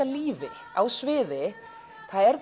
lífi á sviði er